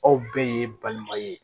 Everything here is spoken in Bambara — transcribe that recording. Aw bɛɛ ye balima ye